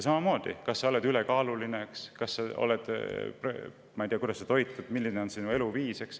Samamoodi, kas ta on ülekaaluline, kuidas ta toitub, milline on tema eluviis.